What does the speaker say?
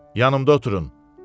yanımda oturun.